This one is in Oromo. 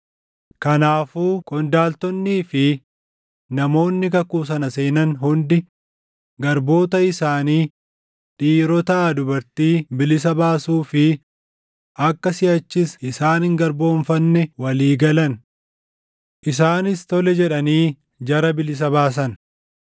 Kanaafuu qondaaltonnii fi namoonni kakuu sana seenan hundi garboota isaanii dhiirotaa dubartii bilisa baasuu fi akka siʼachis isaan hin garboomfanne walii galan. Isaanis tole jedhanii jara bilisa baasan.